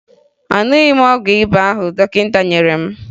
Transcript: Aṅụghị m ọgwụ ịba ahụ dọkịta nyere m